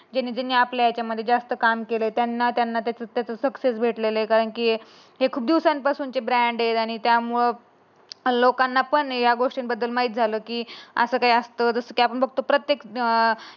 ज्यांनी ज्यांनी आपल्या याच्यामध्ये जास्त काम केलं त्यांना त्यांना त्याचा सक्सेस भेटलेल आहे. की हे खूप दिवसापासून चे ब्रांडेड आणि त्यामुळे लोकांना पण ह्या गोष्टीबद्दल माहित झालं की असं काही असतो. जस की आपण बघतो प्रत्येक अं